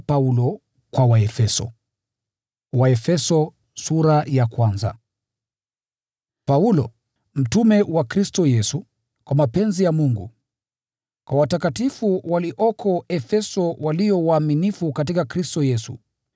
Paulo, mtume wa Kristo Yesu, kwa mapenzi ya Mungu: Kwa watakatifu walioko Efeso, walio waaminifu katika Kristo Yesu: